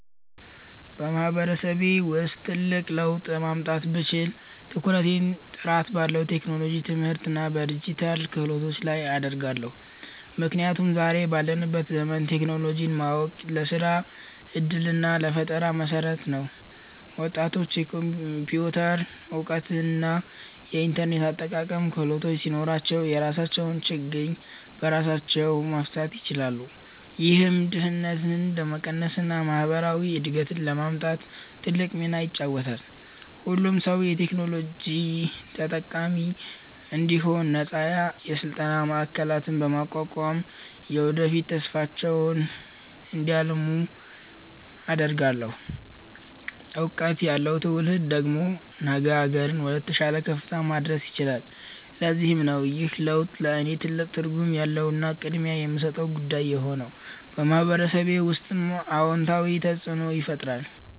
በማህበረሰቤ ውስጥ ትልቅ ለውጥ ማምጣት ብችል፣ ትኩረቴን ጥራት ባለው የቴክኖሎጂ ትምህርትና በዲጂታል ክህሎት ላይ አደርጋለሁ። ምክንያቱም ዛሬ ባለንበት ዘመን ቴክኖሎጂን ማወቅ ለስራ ዕድልና ለፈጠራ መሠረት ነው። ወጣቶች የኮምፒውተር እውቀትና የኢንተርኔት አጠቃቀም ክህሎት ሲኖራቸው፣ የራሳቸውን ችግር በራሳቸው መፍታት ይችላሉ። ይህም ድህነትን ለመቀነስና ማህበራዊ እድገትን ለማምጣት ትልቅ ሚና ይጫወታል። ሁሉም ሰው የቴክኖሎጂ ተጠቃሚ እንዲሆን ነፃ የስልጠና ማዕከላትን በማቋቋም፣ የወደፊት ተስፋቸውን እንዲያልሙ አደርጋለሁ። እውቀት ያለው ትውልድ ደግሞ አገርን ወደተሻለ ከፍታ ማድረስ ይችላል። ለዚህም ነው ይህ ለውጥ ለእኔ ትልቅ ትርጉም ያለውና ቅድሚያ የምሰጠው ጉዳይ የሆነው፤ በማህበረሰቤ ውስጥም አዎንታዊ ተፅእኖን ይፈጥራል።